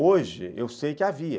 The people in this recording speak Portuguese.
Hoje, eu sei que havia.